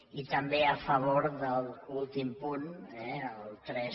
i també a favor de l’últim punt eh el tres